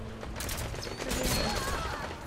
кредо